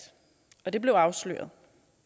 og det blev afsløret